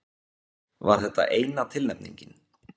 Var þetta eina tilnefningin?